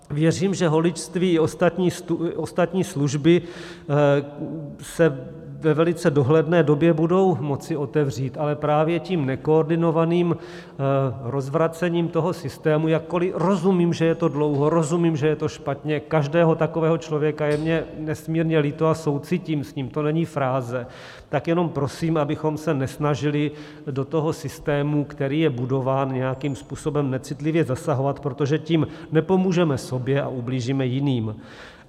Věřím, že holičství i ostatní služby se ve velice dohledné době budou moci otevřít, ale právě tím nekoordinovaným rozvracením toho systému - jakkoli rozumím, že je to dlouho, rozumím, že je to špatně, každého takového člověka je mně nesmírně líto a soucítím s ním, to není fráze - tak jenom prosím, abychom se nesnažili do toho systému, který je budován, nějakým způsobem necitlivě zasahovat, protože tím nepomůžeme sobě a ublížíme jiným.